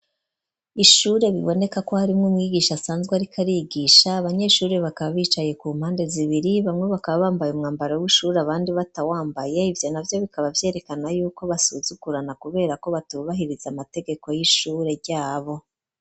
Ishure biboneka ko hari mwo umwigisha asanzwe ariko arigisha abanyeshuri bakaba bicaye ku mpande zibiri bamwe bakaba bambaye umwambaro w'ishuri abandi batawambaye ivyo na byo bikaba vyerekana yuko basuzukurana kubera ko batubahiriza amategeko y'ishure ryabo.